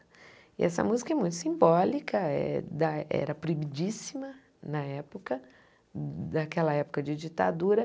E essa música é muito simbólica, é da era proibidíssima na época, naquela época de ditadura.